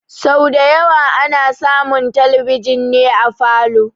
Sau da yawa ana samun talbijin ne a falow